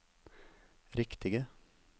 riktige